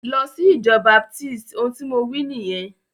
Lọ sí ìjọ baptisti! Ohun tí mo wí nìyẹn.